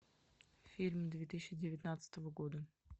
фильм две тысячи девятнадцатого года